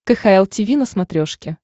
кхл тиви на смотрешке